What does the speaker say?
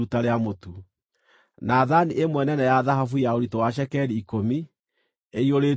na thaani ĩmwe nene ya thahabu ya ũritũ wa cekeri ikũmi, ĩiyũrĩtio ũbumba;